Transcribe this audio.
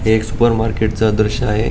हे एक supermarket च दृश्य आहे.